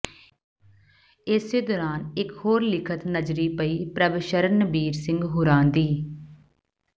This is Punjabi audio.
ਏਸੇ ਦੌਰਾਨ ਇੱਕ ਹੋਰ ਲਿਖਤ ਨਜਰੀਂ ਪਈ ਪ੍ਰਭਸ਼ਰਣਬੀਰ ਸਿੰਘ ਹੁਰਾਂ ਦੀ